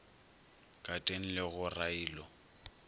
ka teng le go railo